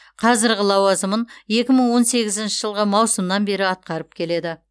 қазіргі лауазымын екі мың он сегізінші жылғы маусымнан бері атқарып келеді